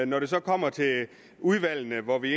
når det så kommer til udvalgene hvor vi